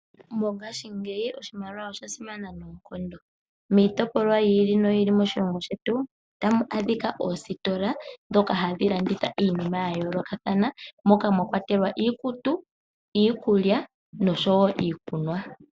Mongashingeyi oshimaliwa osha simana noonkondo miitopolwa yiili noyi ili moshilongo shetu. Otamu adhika oositola dhoka hadhi landitha iinima yayolokathana moka mwakwatelwa iikutu, iikulya noshowo iikunwa.